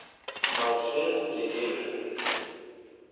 Það þyrmdi yfir mig.